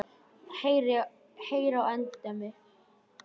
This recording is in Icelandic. Heyr á endemi.